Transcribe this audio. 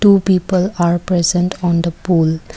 two people are present on the pool.